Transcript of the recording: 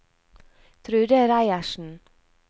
Trude Reiersen